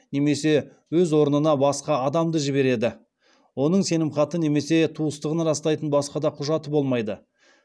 немесе өз орнына басқа адамды жібереді оның сенімхаты немесе туыстығын растайтын басқа да құжаты болмайды